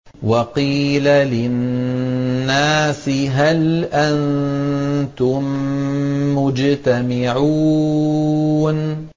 وَقِيلَ لِلنَّاسِ هَلْ أَنتُم مُّجْتَمِعُونَ